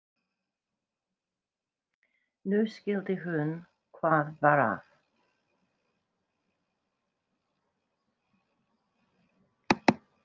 Nú skildi hún hvað var að.